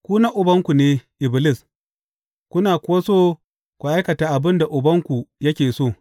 Ku na ubanku ne, Iblis, kuna kuwa so ku aikata abin da ubanku yake so.